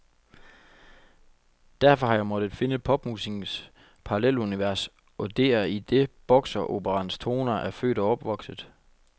Derfor har jeg måttet finde popmusikkens paralleluniveres, og det er i det bokseroperaens toner er født og opvokset.